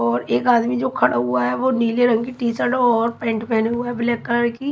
और एक आदमी जो खड़ा हुआ है वो नीले रंग की टी शर्ट और पैंट पहने हुए ब्लैक कलर की।